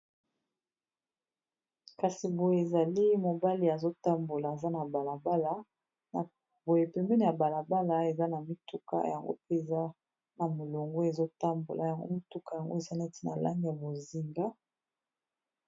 Kasi boye ezali mobali azotambola aza na balabala na boye pembeni ya balabala eza na mituka yango mpe eza na molongo ezotambola yango mituka yango eza neti na langi ya bozinga.